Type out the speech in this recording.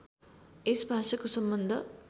यस भाषाको सम्बन्ध